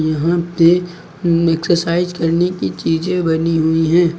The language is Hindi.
यहां पे एक्सरसाइज करने की चीज़ें बनी हुई हैं।